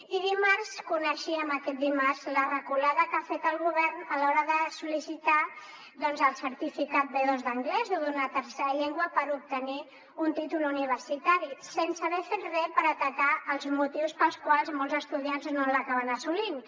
i dimarts coneixíem aquest dimarts la reculada que ha fet el govern a l’hora de sol·licitar el certificat b2 d’anglès o d’una tercera llengua per obtenir un títol universitari sense haver fet res per atacar els motius pels quals molts estudiants no l’acaben assolint